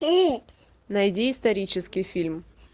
найди исторический фильм